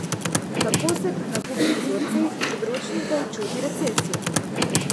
Kako se pri nakupnih vzorcih potrošnikov čuti recesija?